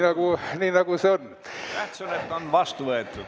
Tähtis, et see on vastu võetud.